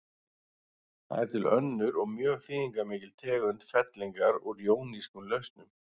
Það er til önnur og mjög þýðingarmikil tegund fellingar úr jónískum lausnum.